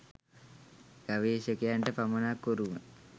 ගවේශකයන්ට පමණක් උරුම